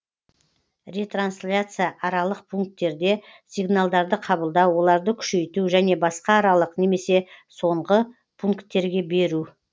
ретрансляция аралық пункттерде сигналдарды қабылдау оларды күшейту және басқа аралық немесе соңғы пункттерге беру